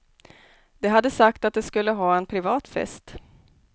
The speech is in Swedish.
De hade sagt att de skulle ha en privat fest.